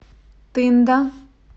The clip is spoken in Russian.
тында